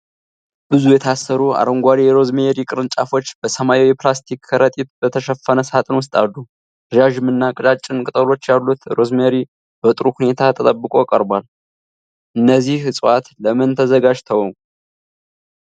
ብዙ የታሰሩ አረንጓዴ የሮዝሜሪ ቅርንጫፎች በሰማያዊ የፕላስቲክ ከረጢት በተሸፈነ ሣጥን ውስጥ አሉ። ረዣዥም እና ቀጫጭን ቅጠሎች ያሉት ሮዝሜሪ በጥሩ ሁኔታ ተጠብቆ ቀርቧል። እነዚህ ዕፅዋት ለምን ተዘጋጅተው?